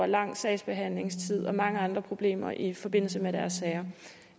en lang sagsbehandlingstid og mange andre problemer i forbindelse med deres sager